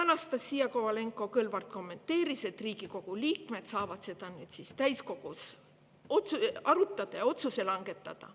Anastassia Kovalenko-Kõlvart kommenteeris, et Riigikogu liikmed saavad seda täiskogus arutada ja otsuse langetada.